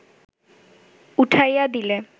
উঠাইয়া দিলে